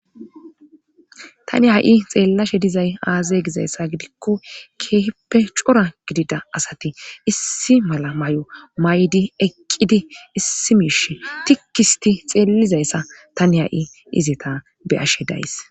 tani ha7i xeellashe dizay aazay gizayssa gidikko keeppe cora gidida asati issi mala may7o may7di eqqidi issi miish tikkisti xeellizayssa tani ha7i izita beyashe days